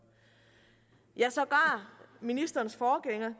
ja sågar ministerens forgænger